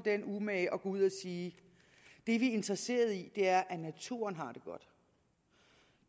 den umage at gå ud at sige det vi er interesseret i er at naturen har det godt